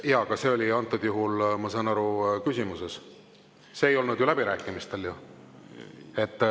Jaa, aga see oli antud juhul, ma saan aru, küsimuses, see ei olnud läbirääkimistel.